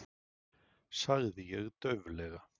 sagði ég dauflega.